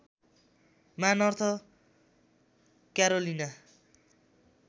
मा North Carolina